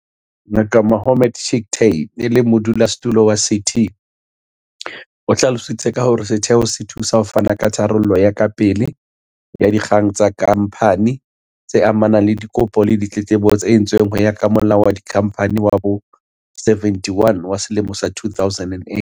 Ngaka Mohammed Chicktay, e leng Modulasetulo wa CT, o hlalositse ka hore setheo se thusa ho fana ka tharollo ya kapele ya dikgang tsa kha mphani, tse amanang le dikopo le ditletlebo tse entsweng ho ya ka Molao wa Dikhamphani wa bo-71 wa selemo sa 2008.